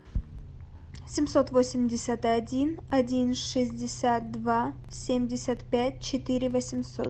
семьсот восемьдесят один один шестьдесят два семьдесят пять четыре восемьсот